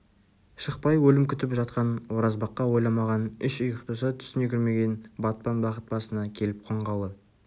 шықпай өлім күтіп жатқан оразбаққа ойламаған үш ұйықтаса түсіне кірмеген батпан бақыт басына келіп қонғалы